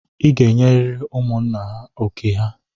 I ga-enyeriri ụmụ nna oké ha!